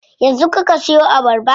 Yanzu kuka siyo abarba?